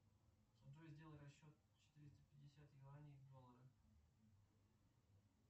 джой сделай расчет четыреста пятьдесят юаней в доллары